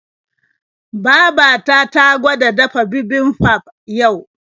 Baba ta ta gwada dafa bibimbap yau.